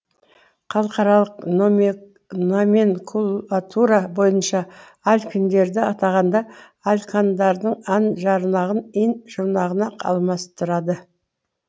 халықаралық номенклатура бойынша алкиндерді атағанда алкандардың ан жұрнағын ин жұрнағына алмастырады